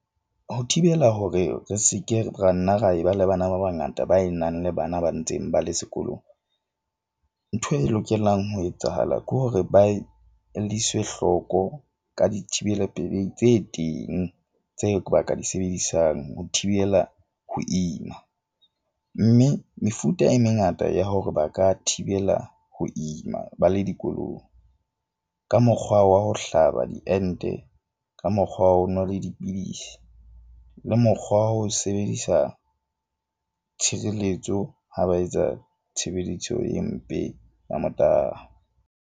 Ho thibela hore re seke ra nna ra e ba le bana ba bangata ba e nang le bana ba ntseng ba le sekolong. Ntho e lokelang ho etsahala ke hore ba e lliswe hlooko ka dithibela pelehi tse teng tse ba ka di sebedisang ho thibela ho ima. Mme mefuta e mengata ya hore ba ka thibela ho ima ba le dikolong. Ka mokgwa wa ho hlaba diente ka mokgwa wa ho nwa dipidisi le mokgwa wa ho sebedisa tshireletso ha ba etsa tshebeletso e mpe ya .